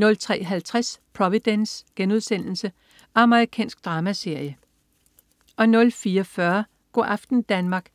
03.50 Providence.* Amerikansk dramaserie 04.40 Go' aften Danmark*